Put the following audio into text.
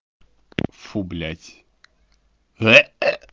фу блядь